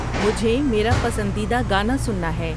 مجھے میرا پسندیدہ گانا سننا ہے